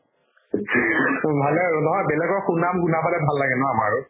উম, ভালে আৰু নহয় বেলেগৰ সুনাম শুনা পালে ভাল লাগে ন আমাৰো